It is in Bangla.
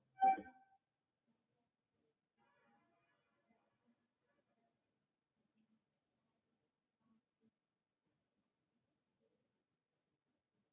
তো কাঠ খোলার মধ্যে জায়ফল, জয়িত্রী, জাফরানও কিছুটা, শাহ জিরে, শাহ মরিচ, বুঝলি তো লিখছিস তুই?